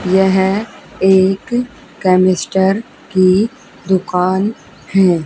यह एक केमिस्टर की दुकान है।